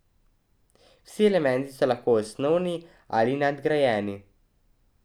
Vsi elementi so lahko osnovni ali nadgrajeni.